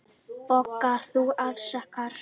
BOGGA: Þú afsakar.